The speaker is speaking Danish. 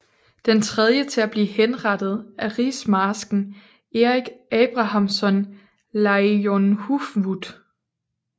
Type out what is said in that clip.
Den tredje til at blive henrettet er rigsmarsken Erik Abrahamsson Leijonhufvud